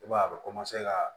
I b'a ye a bɛ ka